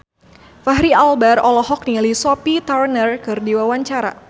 Fachri Albar olohok ningali Sophie Turner keur diwawancara